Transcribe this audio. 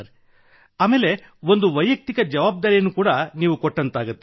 ಮತ್ತು ಅದು ವೈಯಕ್ತಿಕ ಜವಾಬ್ದಾರಿಯನ್ನೂ ನೀಡಿದಂತಾಗುತ್ತದೆ